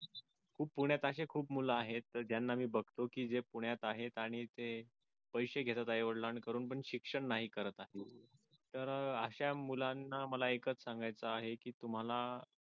खूप पुण्यात अशे खूप मुलं आहेत ज्यांना मी बघतो की जे पुण्यात आहेत आणि ते पैशे घेतात आई वडिलांकडून पण शिक्षण नाही करत तर अशा मुलांना मला एकच सांगायचं आहे की तुम्हाला